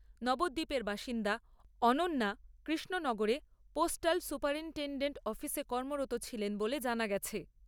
নবদ্বীপের বাসিন্দা অনন্যা, কৃষ্ণনগরে পোস্টাল সুপারিন্টেণ্ডেন্ট অফিসে কর্মরত ছিলেন বলে জানা গেছে।